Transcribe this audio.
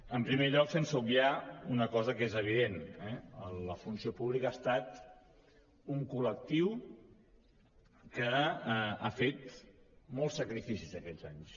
en primer lloc sense obviar una cosa que és evident la funció pública ha estat un col·lectiu que ha fet molts sacrificis aquests anys